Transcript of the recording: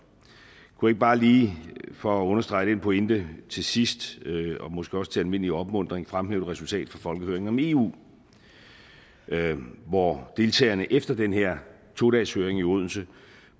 kunne jeg ikke bare lige for at understrege den pointe til sidst og måske også til almindelig opmuntring fremhæve et resultat af folkehøringen om eu hvor deltagerne efter den her to dageshøring i odense